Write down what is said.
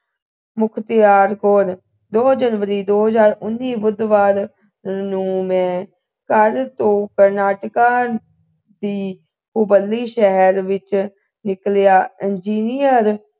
ਮੁਖਤਿਆਰ ਕੌਰ ਦੋ january ਦੋ ਹਜਾਰ ਉੱਨੀ ਬੁੱਧਵਾਰ ਨੂੰ ਮੈ ਘਰ ਤੋਂ ਕਰਨਾਟਕਾ ਦੀ ਉਬਲੀ ਸ਼ਹਿਰ ਵਿਚ ਨਿਕਲਿਆ engineer